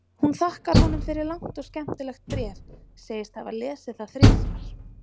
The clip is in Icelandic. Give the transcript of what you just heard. Hún þakkar honum fyrir langt og skemmtilegt bréf, segist hafa lesið það þrisvar.